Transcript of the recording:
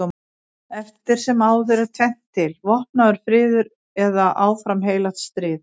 Eftir sem áður er tvennt til: vopnaður friður eða áfram heilagt stríð.